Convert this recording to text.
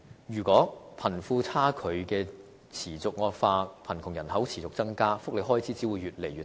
如果貧富差距持續惡化，貧窮人口持續增加，福利開支只會越來越大。